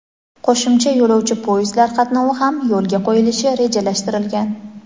qo‘shimcha yo‘lovchi poyezdlar qatnovi ham yo‘lga qo‘yilishi rejalashtirilgan.